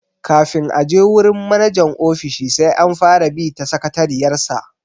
Kafin a je wurin manajan ofishi sai an fara bi ta sakatariyar sa.